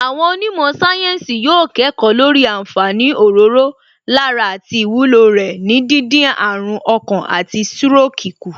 Àwọn onímọ̀ sáyẹ́ǹsì yóò kẹ́kọ̀ọ́ lórí àǹfààní òróró lára àti ìwúlò rẹ̀ ní díndín àrùn ọkàn àti stroke kù